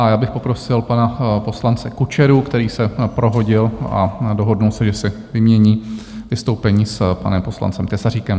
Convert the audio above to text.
A já bych poprosil pana poslance Kučeru, který se prohodil a dohodl se, že si vymění vystoupení s panem poslancem Tesaříkem.